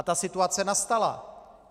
A ta situace nastala.